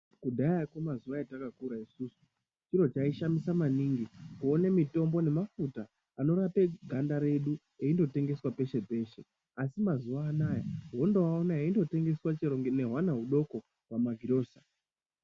Kudhayako mazuwa atakakura isusu chiro chaishamisa maningi kuone mitombo nemafuta anorape ganda redu eindotengeswa peshe peshe, asi mazuwanaya unondooaona eindotengeswa chero nehwana hudoko pamagirosa.